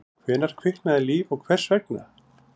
Hvenær kviknaði líf og hvers vegna?